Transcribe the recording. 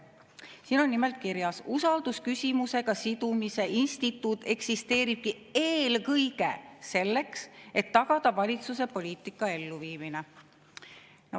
Siin on nimelt kirjas: "Usaldusküsimusega sidumise instituut eksisteeribki eelkõige selleks, et tagada valitsuse poliitika elluviimine.